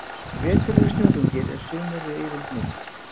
Vetur eru snjóþungir, en sumur eru yfirleitt mild.